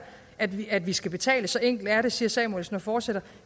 at vi at vi skal betales så enkelt er det siger samuelsen og fortsætter